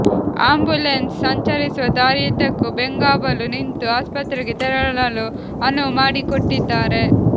ambulance ಸಂಚರಿಸುವ ದಾರಿಯುದ್ದಕ್ಕೂ ಬೆಂಗಾವಲು ನಿಂತು ಆಸ್ಪತ್ರೆಗೆ ತೆರಳಲು ಅನುವು ಮಾಡಿಕೊಟ್ಟಿದ್ದಾರೆ